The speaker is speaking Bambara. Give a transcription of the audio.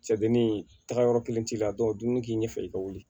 Cɛ dennin taga yɔrɔ kelen t'i la dumuni k'i ɲɛ fɛ i ka wuli